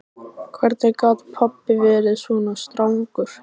Hvernig gat pabbi verið svona strangur?